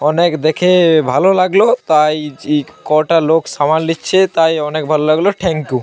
অনেক দেখে ভালো লাগলো। তাই কটা লোক সামাল দিচ্ছে। তাই অনেক ভালো লাগলো। Thank you.